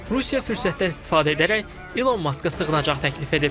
Rusiya fürsətdən istifadə edərək İlon Maska sığınacaq təklif edib.